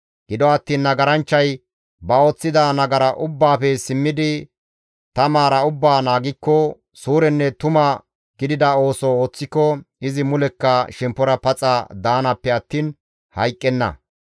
«Gido attiin nagaranchchay ba ooththida nagara ubbaafe simmidi ta maara ubbaa naagikko, suurenne tuma gidida ooso ooththiko izi mulekka shemppora paxa daanaappe attiin hayqqenna.